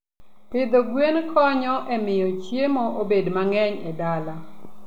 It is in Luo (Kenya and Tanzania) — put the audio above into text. Pidho gwen konyo e miyo chiemo obed mang'eny e dala.